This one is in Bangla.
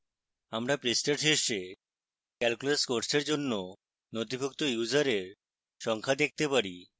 আমরা পৃষ্ঠার শীর্ষে calculus কোর্সের জন্য নথিভুক্ত ইউসারের সংখ্যা দেখতে পারি